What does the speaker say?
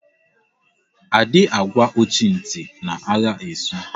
A dị agwa ọchị ntị na agha esu